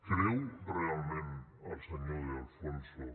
creu realment el senyor de alfonso